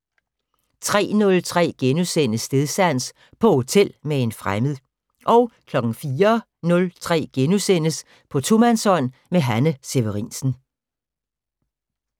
03:03: Stedsans: På hotel med en fremmed * 04:03: På tomandshånd med Hanne Severinsen *